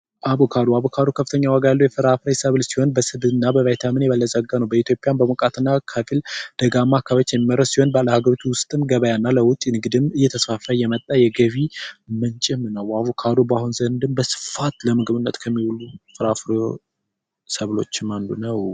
አቮካዶ በጣም ከፍተኛ ዋጋ ያለው የፍራፍሬ ሰብል ሲሆን፤ በስብ እና ቫይታሚን የበለፀገ ነው። በኢትዮጵያም በመምጣት እና ከግል ደጋማ አካባቢዎች የሚመረት ሲሆን ለአገር ውስጥ ገበያ እና ለወጪ ንግድ እየተስፋፋ የመጣው የገቢ ምንጭም ነው። አቮካዱ አሁን ዘንድም በስፋት ለምግብነት ከሚውሉ ፍራፍሬ ሰብሎችም አንዱ ነው።